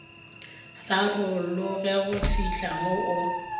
rarologe go fihla mo o